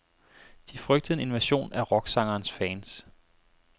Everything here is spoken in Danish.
De frygtede en invasion af rocksangerens fans.